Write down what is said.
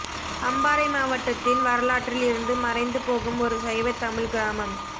அம்பாறை மாவட்டத்தின் வரலாற்றில் இருந்து மறைந்து போகும் ஒரு சைவத் தமிழ்க் கிராமம்